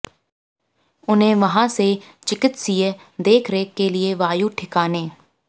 उन्हें वहां से चिकित्सीय देखरेख के लिए वायु ठिकाने